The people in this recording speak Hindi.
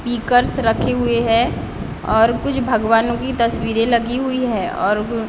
स्पीकर्स रखे हुई हैं ओर कुछ भगवानों की तस्वीरें लगी हुई हैं।